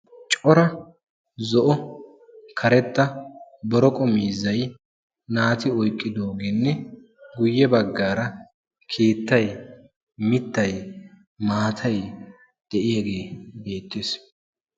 cora zo'o karetta zo'o cora miizzay naati oyiqqiyogeenne giddo baggaara mittay maatay de'iyage beettes.